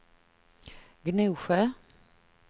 Gnosjö